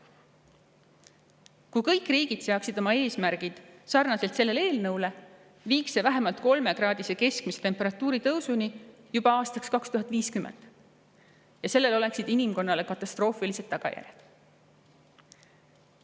Kui kõik riigid seaksid oma eesmärgid selle eelnõuga sarnaselt, viiks see meid vähemalt 3-kraadise keskmise temperatuuri tõusuni juba aastaks 2050 ja sellel oleksid inimkonnale katastroofilised tagajärjed.